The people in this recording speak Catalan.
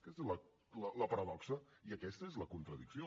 aquesta és la paradoxa i aquesta és la contradicció